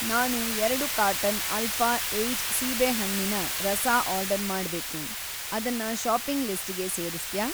ನಾನು ಎರಡು carton alpha eight ಸೀಬೇಹಣ್ಣಿನ ರಸ ಆರ್ಡರ್‌ ಮಾಡ್ಬೇಕು, ಅದನ್ನ ಷಾಪಿಂಗ್‌ ಲಿಸ್ಟಿಗೆ ಸೇರಿಸ್ತ್ಯಾ?